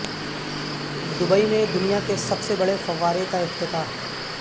Dubai میں دنیا کے سب سے بڑے فوارے کا افتتاح